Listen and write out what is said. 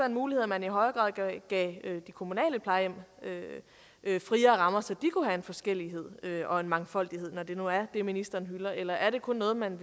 en mulighed at man i højere grad gav de kommunale plejehjem friere rammer så de kunne have en forskellighed og en mangfoldighed når det nu er det ministeren hylder eller er det kun noget man